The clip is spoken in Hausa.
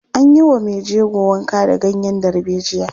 An yi wa mai jego wanka da ganyen darbejiya.